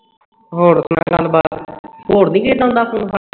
ਹੋਰ ਸੁਣਾ ਗੱਲਬਾਤ ਹੋਰ ਨਹੀਂ ਆਉਂਦਾ ਕਿਸੇ ਦਾ phone ਫਾਨ